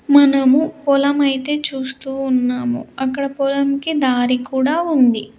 మనము పొలం అయితే చూస్తూ ఉన్నాము అక్కడ పొలంకి దారి కూడా ఉంది.